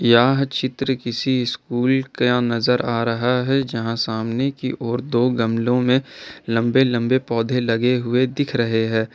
यह चित्र किसी स्कूल का नजर आ रहा है जहां सामने की ओर दो गमलों में लंबे लंबे पौधे लगे हुए दिख रहे हैं।